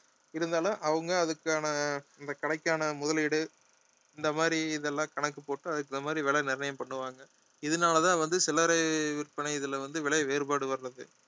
இருந்தாலும் அவங்க அதுக்கான இந்த கடைக்கான முதலீடு இந்த மாதிரி இதெல்லாம் கணக்கு போட்டு அதுக்கு தகுந்த மாதிரி விலை நிர்ணயம் பண்ணுவாங்க இதனாலதான் வந்து சில்லறை விற்பனை இதுல வந்து விலை வேறுபாடு வர்றது